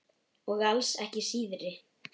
Og alls ekki síðri.